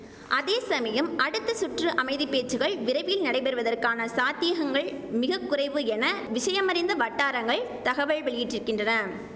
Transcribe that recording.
அதே சமயம் அடுத்த சுற்று அமைதி பேச்சுகள் விரைவில் நடைபெறுவதற்கான சாத்தியகங்கள் மிக குறைவு என விஷயமறிந்த வட்டாரங்கள் தகவல் வெளியிட்டிருக்கின்றன